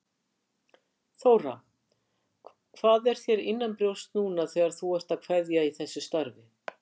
Þóra: Hvað er þér innanbrjósts núna þegar þú ert að kveðja í þessu starfi?